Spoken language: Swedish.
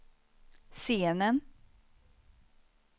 scenen